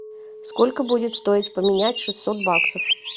сколько будет стоить поменять шестьсот баксов